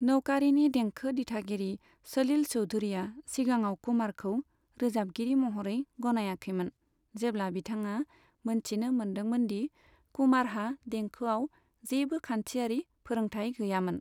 नौकारीनि देंखो दिथागिरि सलिल चौधुरीया सिगांआव कुमारखौ रोजाबगिरि महरै गनायाखैमोन, जेब्ला बिथाङा मोनथिनो मोनदोंमोन दि कुमारहा देंखोआव जेबो खान्थियारि फोरोंथाइ गैयामोन।